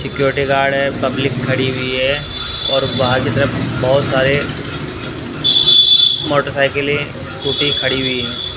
Security guard public खड़ी हुई है और बाहर की तरफ बहुत सारे मोटरसाइकिल स्कूटी खड़ी हुई है।